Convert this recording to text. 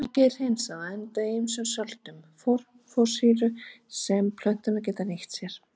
Bergið er hreinsað og endar í ýmsum söltum fosfórsýru sem plöntur geta nýtt sér.